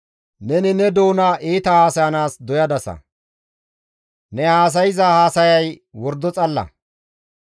Neni ne doona iita haasayanaas doyadasa; ne haasayza haasayay wordo xalla.